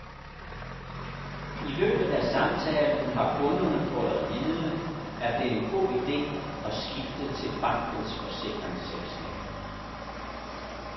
I løbet af samtalen har kunderne fået at vide, at det er en god ide at skifte til bankens forsikringsselskab.